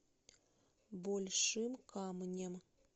большим камнем